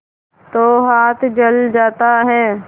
तो हाथ जल जाता है